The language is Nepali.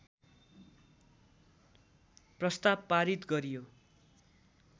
प्रस्ताव पारित गरियो